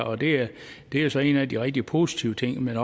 og det er så en af de rigtig positive ting men